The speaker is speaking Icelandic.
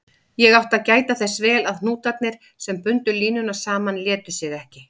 Ég átti að gæta þess vel að hnútarnir, sem bundu línuna saman, létu sig ekki.